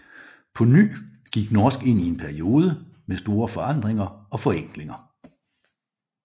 På ny gik norsk ind i en periode med store forandringer og forenklinger